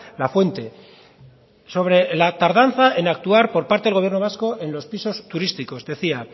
la fuente sobre la tardanza en actuar por parte del gobierno vasco en los pisos turísticos decía